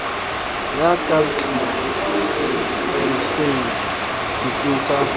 ya ka tlelaseng setsing sa